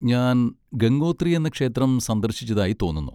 ഞാൻ ഗംഗോത്രി എന്ന ക്ഷേത്രം സന്ദർശിച്ചതായി തോന്നുന്നു.